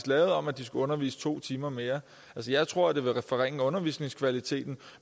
lavede om at de skulle undervise to timer mere altså jeg tror at det vil forringe undervisningskvaliteten